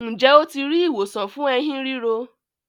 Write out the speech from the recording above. Njé o ti ri ìwòsàn fún Ẹ̀hín ríro?